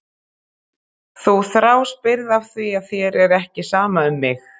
Þú þráspyrð af því að þér er ekki sama um mig.